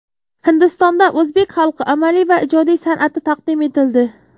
Hindistonda o‘zbek xalq amaliy va ijodiy san’ati taqdim etildi .